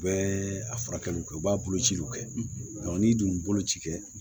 U bɛ a furakɛliw kɛ u b'a bolociw kɛ n'i dun ye boloci kɛ